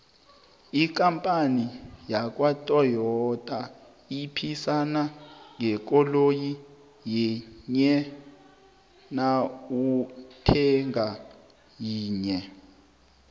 ikampani yakwatoyita iphisana ngekoloyi yinye nawuthenga yinye